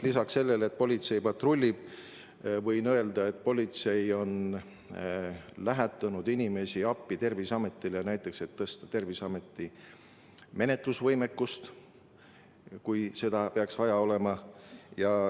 Lisaks sellele, et politsei patrullib, võin öelda, et politsei on Terviseametile inimesi appi saatnud, et tõsta Terviseameti menetlusvõimekust, kui seda peaks vaja olema.